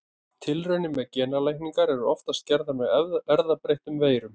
Tilraunir með genalækningar eru oftast gerðar með erfðabreyttum veirum.